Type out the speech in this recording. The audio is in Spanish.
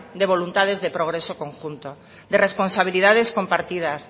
de voluntades de progreso conjunto de responsabilidades compartidas